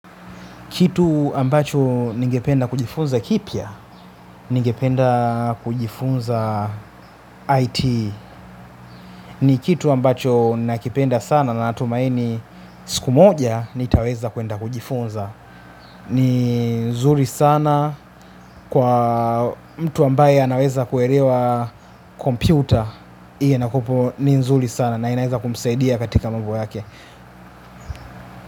Kitu ambacho ningependa kujifunza kipya ningependa kujifunza IT. Ni kitu ambacho nakipenda sana na natumaini siku moja, nitaweza kuenda kujifunza. Ni nzuri sana kwa mtu ambaye anaweza kuelewa kompyuta. Ile nakupo ni nzuri sana na inaeza kumsaidia katika mambo yake.